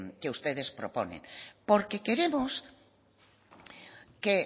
que ustedes proponen porque queremos que